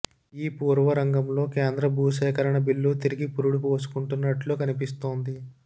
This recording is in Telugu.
ఈ పూర్వరంగంలో కేంద్ర భూసేకరణ బిల్లు తిరిగి పురుడు పోసుకున్నట్లు కనిపిస్తోంది